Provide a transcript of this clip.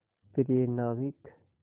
प्रिय नाविक